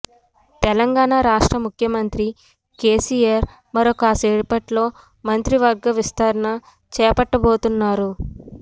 తెలంగాణ రాష్ట్ర ముఖ్య మంత్రి కేసీఆర్ మరికాసేపట్లో మంత్రివర్గ విస్తరణ చేపట్టబోతున్నారు